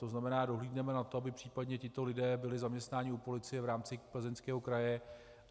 To znamená, dohlédneme na to, aby případně tito lidé byli zaměstnáni u policie v rámci Plzeňského kraje.